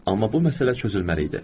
Amma bu məsələ çözülməli idi.